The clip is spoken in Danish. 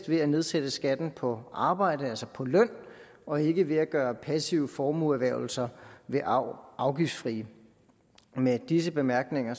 ved at nedsætte skatten på arbejde altså på løn og ikke ved at gøre passive formueerhvervelser ved arv afgiftsfrie med disse bemærkninger